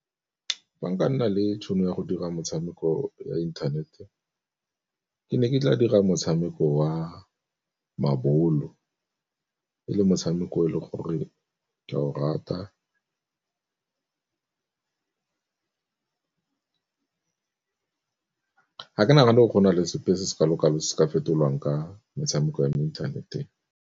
Fa nka nna le tšhono ya go dira motshameko ya inthanete ke ne ke tla dira motshameko wa mabolo e le motshameko e le gore ke a o rata ga ke nagane gore gona le sepe se se kalo-kalo se se ka fetolwang ka metshameko ya mo interneteng.